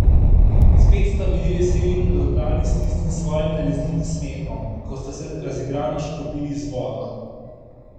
Spet sta bili veseli in radodarni s tistim svojim nalezljivim smehom, ko sta se razigrano škropili z vodo.